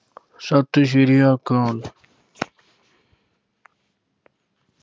ਸਤਿ ਸਿਰੀ ਅਕਾਲ।